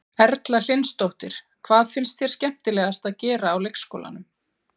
Erla Hlynsdóttir: Hvað finnst þér skemmtilegast að gera á leikskólanum?